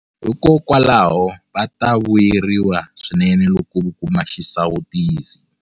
Hikokwalaho, va ta vuyeriwa swinene loko vo kuma xisawutisi.